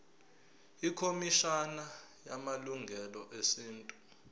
ikhomishana yamalungelo esintu